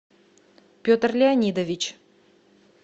петр леонидович